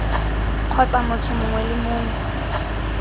kgotsa motho mongwe le mongwe